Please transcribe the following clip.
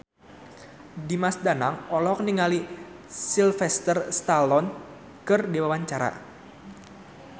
Dimas Danang olohok ningali Sylvester Stallone keur diwawancara